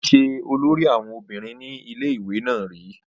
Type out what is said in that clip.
ó ti ṣe olórí àwọn obìnrin ní ilé ìwé náà rí